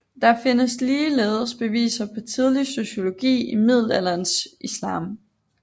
Der findes ligeledes beviser på tidlig sociologi i middelalderens Islam